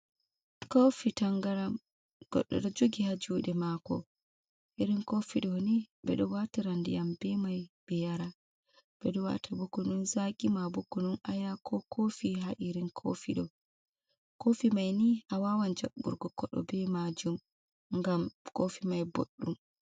Kofi tangram, goddo do jugi ha juɗee maako. irin kofi do ni ɓe do waatira ndiyam be mai be yara, ɓe do Waata bo kunun zaki ma bo kunun aya ko kofi ha irin kofi do kofi mai ni awawan jabburgo kodo be maajum ngam kofi mai boɗɗum.